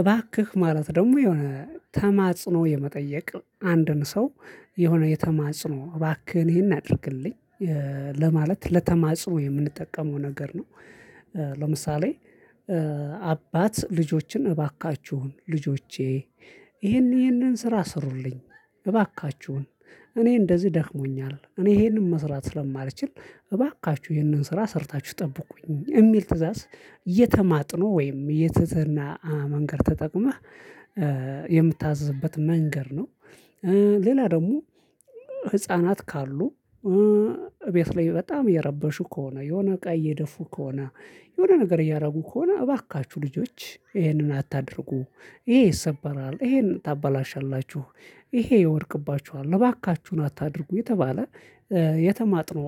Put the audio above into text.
እባክህ ማለት ደግሞ የሆነ ተማጽኖ የመጠየቅ አንድን ሰው የሆነ የተማጽኖ እባክህን ይሄን አድርግልኝ ለማለት ለተማጽኖ የምንጠቀመው ነገር ነው። ለምሳሌ አባት ልጆችን እባካችሁን ልጆቼ ይሄን ይሄንን ስራ ስሩልኝ እባካችሁን እኔ እንደዚህ ደክሞኛል እኔ ይሄንን መስራት ስለማልችል እባካችሁ ይሄንን ስራ ሰርታችሁ ጠብቁኝ የሚል ትእዛዝ የተማጥኖ ወይም የትህትና መንገድ ተጠቅመህ የምታዝዝበት መንገድ ነው። ሌላ ደግሞ ህፃናት ካሉ ቤት ላይ በጣም እየረበሹ ከሆነ የሆነ እቃ እየደፉ ከሆነ የሆነ ነገር እያደረጉ ከሆነ እባካችሁ ልጆች ይሄንን አታድርጉ ይሄ ይሰበራል ይሄን ታበላሻላችሁ ይሄ ይወድቅባችኋል እባካችሁን አታድርጉ የተባለ የተማጥኖ